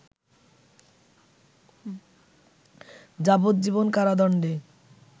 যাবজ্জীবন কারাদণ্ডে